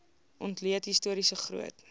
ontleed historiese groot